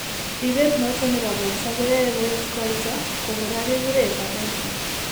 Ribeet noton ne po borto ko yaaye koeet kooyto, ko kora ke kure hepatitis.